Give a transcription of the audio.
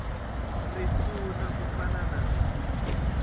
risuna ku fana na lowu